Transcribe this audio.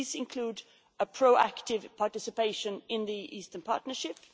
These include a pro active participation in the Eastern Partnership